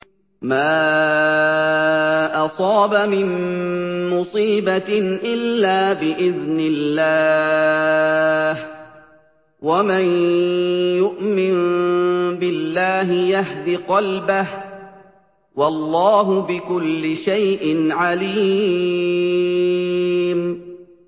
مَا أَصَابَ مِن مُّصِيبَةٍ إِلَّا بِإِذْنِ اللَّهِ ۗ وَمَن يُؤْمِن بِاللَّهِ يَهْدِ قَلْبَهُ ۚ وَاللَّهُ بِكُلِّ شَيْءٍ عَلِيمٌ